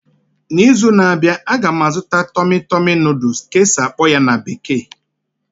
N'izu na-abịa, a ga m azụta 'tummy tummy noodles' ka e si akpo ya na bekee